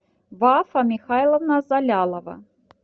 вафа михайловна залялова